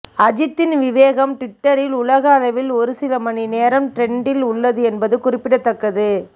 அஜித்தின் விவேகம் டுவிட்டரில் உலக அளவில் ஒருசில மணி நேரம் டிரெண்டில் உள்ளது என்பது குறிப்பிடத்தக்கது